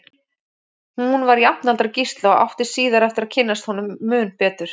Hún var jafnaldra Gísla og átti síðar eftir að kynnast honum mun betur.